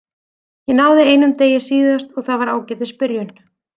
Ég náði einum degi síðast og það var ágætis byrjun.